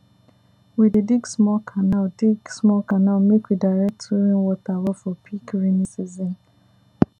for rainy season we dey wear boot make mud no soak our leg.